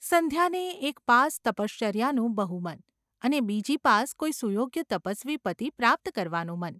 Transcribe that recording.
સંધ્યાને એક પાસ તપશ્ચર્યાનું બહુ મન, અને બીજી પાસ કોઈ સુયોગ્ય તપસ્વી પતિ પ્રાપ્ત કરવાનું મન.